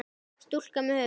Stúlka með höfuð.